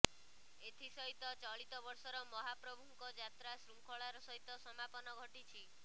ଏଥିସହିତ ଚଳିତବର୍ଷର ମହାପ୍ରଭୁଙ୍କ ଯାତ୍ରା ଶୃଙ୍ଖଳାର ସହିତ ସମାପନ ଘଟିଛି